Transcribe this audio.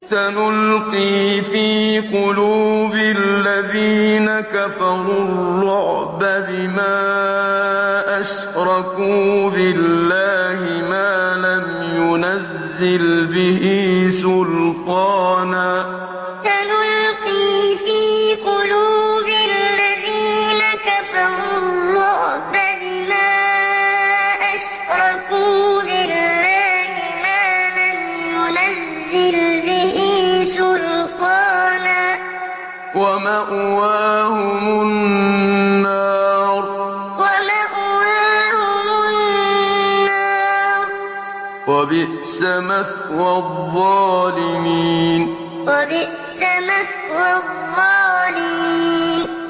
سَنُلْقِي فِي قُلُوبِ الَّذِينَ كَفَرُوا الرُّعْبَ بِمَا أَشْرَكُوا بِاللَّهِ مَا لَمْ يُنَزِّلْ بِهِ سُلْطَانًا ۖ وَمَأْوَاهُمُ النَّارُ ۚ وَبِئْسَ مَثْوَى الظَّالِمِينَ سَنُلْقِي فِي قُلُوبِ الَّذِينَ كَفَرُوا الرُّعْبَ بِمَا أَشْرَكُوا بِاللَّهِ مَا لَمْ يُنَزِّلْ بِهِ سُلْطَانًا ۖ وَمَأْوَاهُمُ النَّارُ ۚ وَبِئْسَ مَثْوَى الظَّالِمِينَ